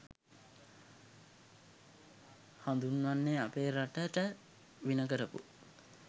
හඳුන්වන්නෙ අපේ රටට වින කරපු